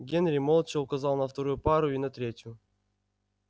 генри молча указал на вторую пару и на третью